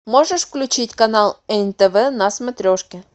можешь включить канал нтв на смотрешке